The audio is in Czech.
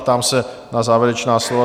Ptám se na závěrečná slova.